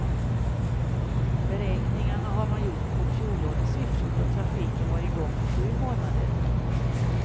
Beräkningarna har man gjort på fjolårets siffror, då trafiken var i gång i sju månader.